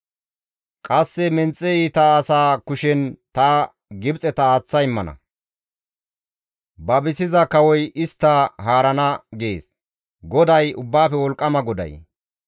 Qasse menxe iita asa kushen ta Gibxeta aaththa immana; babisiza kawoy istta haarana» gees GODAY, Ubbaafe Wolqqama Xoossay.